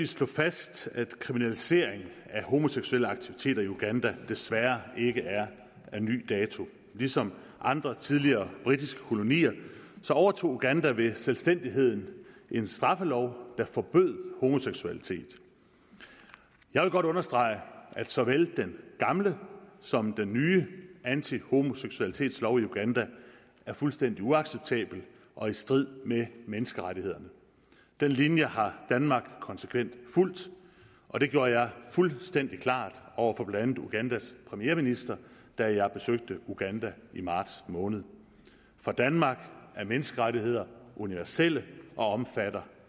slå fast at kriminalisering af homoseksuelle aktiviteter i uganda desværre ikke er af ny dato ligesom andre tidligere britiske kolonier overtog uganda ved selvstændigheden en straffelov der forbød homoseksualitet jeg vil godt understrege at såvel den gamle som den nye antihomoseksualitetslov i uganda er fuldstændig uacceptable og i strid med menneskerettighederne den linje har danmark konsekvent fulgt og det gjorde jeg fuldstændig klart over for blandt andet ugandas premierminister da jeg besøgte uganda i marts måned for danmark er menneskerettigheder universelle og omfatter